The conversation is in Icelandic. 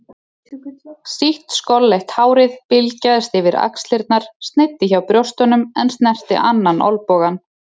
Sítt skolleitt hárið bylgjaðist yfir axlirnar, sneiddi hjá brjóstunum en snerti annan olnbogann.